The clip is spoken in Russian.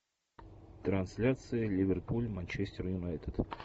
трансляция ливерпуль манчестер юнайтед